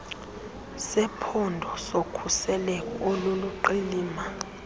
sephondo sokhuselo oluliqilima